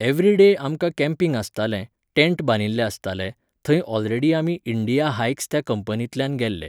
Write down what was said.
every day आमकां camping आसताले, tent बांदिल्ले आसताले, थंय ओलरेडी आमी इंडिया हायक्स त्या कंपनींतल्यान गेल्ले